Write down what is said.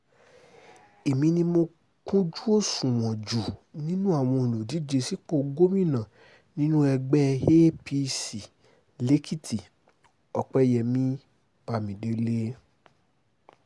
èmi ni mo kúnjú òṣùwọ̀n jù nínú àwọn olùdíje sípò gómìnà nínú ẹgbẹ́ apc lèkìtì-òpẹyẹmí bámidélé